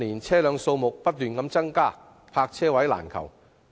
車輛數目近年不斷增加，泊車位難求。